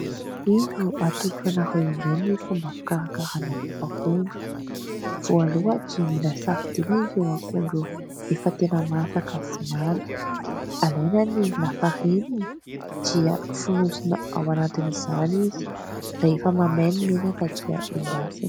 Indro atolotro ho anareo indray ny fomba fikarakarana mofo akondro, voalohany dia mila safidina ireo akondro efa tena masaka sy mamy, alaina ny lafarinina dia fonosona ao anatin'izany izy, rehefa mamay ny menaka dia endasina.